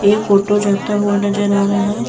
एक ऑटो जाता हुआ नजर आ रहा है।